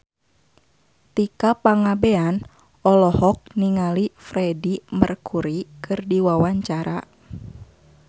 Tika Pangabean olohok ningali Freedie Mercury keur diwawancara